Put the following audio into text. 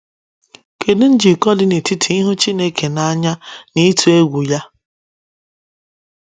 Kedu njikọ dị n’etiti ịhụ Chineke n’anya na ịtụ egwu ya?